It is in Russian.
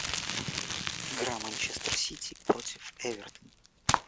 игра манчестер сити против эвертон